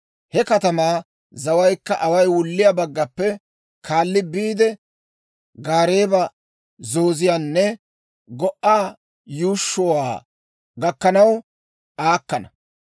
He katamaa zawaykka away wulliyaa baggaappe kaalli biide, Gaareeba zooziyaanne Go"a yuushshuwaa gakkanaw aakkana.